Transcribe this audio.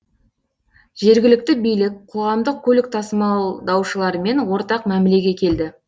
жергілікті билік қоғамдық көлік тасымалдаушылармен ортақ мәмілеге келді